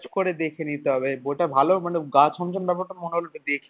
করে দেখে নিতে হবে বইটা ভালো মানে গা ছমছম ব্যাপারটা মনে হল তো